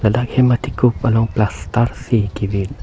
dak hem athekup along plaster si ke vit.